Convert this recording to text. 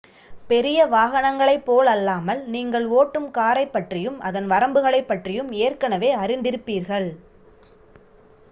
பெரிய வாகனங்களைப் போலல்லாமல் நீங்கள் ஓட்டும் காரைப்பற்றியும் அதன் வரம்புகளைப் பற்றியும் ஏற்கனவே அறிந்திருப்பீர்கள்